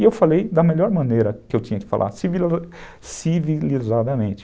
E eu falei da melhor maneira que eu tinha que falar, civilizadamente.